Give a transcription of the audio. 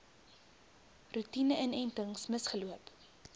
roetine inentings misgeloop